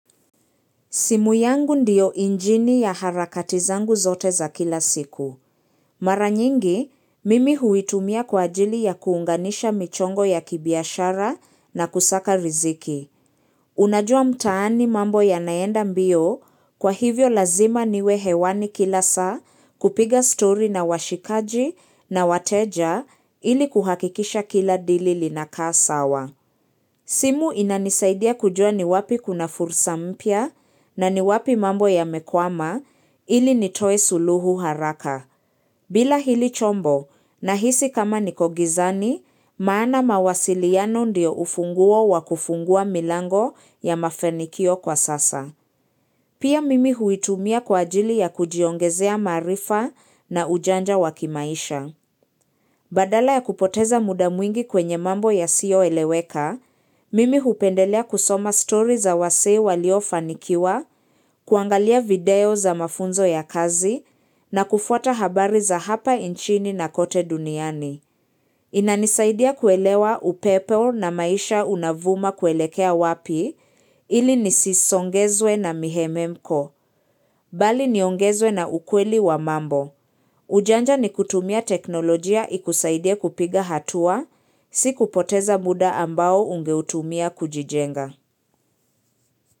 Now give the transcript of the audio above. Simu yangu ndiyo injini ya harakati zangu zote za kila siku. Mara nyingi, mimi huitumia kwa ajili ya kuunganisha michongo ya kibiashara na kusaka riziki. Unajua mtaani mambo yanaenda mbio, kwa hivyo lazima niwe hewani kila saa kupiga story na washikaji na wateja ili kuhakikisha kila dili linakaa sawa. Simu inanisaidia kujua ni wapi kuna fursa mpya na ni wapi mambo yamekwama ili nitoe suluhu haraka. Bila hili chombo nahisi kama niko gizani, maana mawasiliano ndio ufunguo wa kufungua milango ya mafanikio kwa sasa. Pia mimi huitumia kwa ajili ya kujiongezea maarifa na ujanja wa kimaisha. Badala ya kupoteza muda mwingi kwenye mambo yasioeleweka, mimi hupendelea kusoma stori za wasee waliofanikiwa, kuangalia video za mafunzo ya kazi na kufuata habari za hapa inchini na kote duniani. Inanisaidia kuelewa upepo na maisha unavuma kuelekea wapi ili nisisongezwe na mihememko, bali niongezwe na ukweli wa mambo. Ujanja ni kutumia teknolojia ikusaidie kupiga hatua, si kupoteza muda ambao ungeutumia kujijenga.